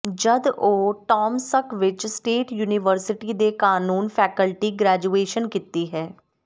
ਜਦ ਉਹ ਟਾਮਸ੍ਕ ਵਿੱਚ ਸਟੇਟ ਯੂਨੀਵਰਸਿਟੀ ਦੇ ਕਾਨੂੰਨ ਫੈਕਲਟੀ ਗ੍ਰੈਜੂਏਸ਼ਨ ਕੀਤੀ ਹੈ